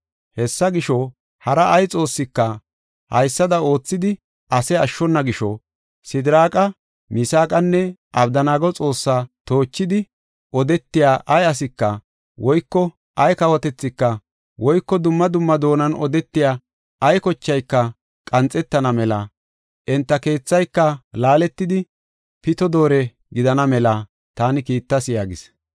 Hesaa gisho, hara ay xoossika haysada oothidi ase ashshona gisho, Sidiraaqa, Misaaqanne Abdanaago Xoossaa toochidi odetiya ay asika, woyko ay kawotethika, woyko dumma dumma doonan odetiya ay kochayka qanxetana mela enta keethayka laaletidi, pito doore gidana mela taani kiittas” yaagis.